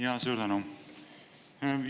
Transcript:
Jaa, suur tänu!